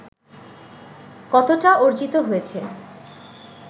কতটা অর্জিত হয়েছে